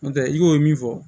N'o tɛ i b'o min fɔ